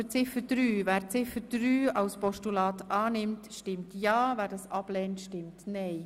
Wer Ziffer 3 annimmt, stimmt ja, wer diese ablehnt, stimmt nein.